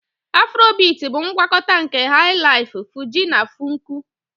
Afrobiti bụ ngwakọta nke Hai-laifu, Fuji na Funku.